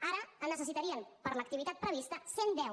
ara en necessitarien per l’activitat prevista cent i deu